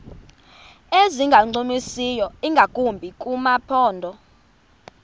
ezingancumisiyo ingakumbi kumaphondo